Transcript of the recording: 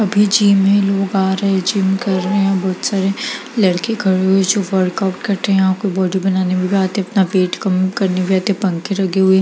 अभी जिम में लोग आ रहें हैं जिम कर रहें हैं बहुत सारे लड़के खड़े हुए हैं जो वर्कआउट करतें हैं और कोई बॉडी बनाने वाला आते हैं अपना पेट कम करने रहते हैं पंखे लगे हुए हैं।